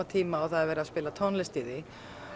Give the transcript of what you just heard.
tíma og það er verið að spila tónlist í því